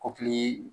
Kɔkili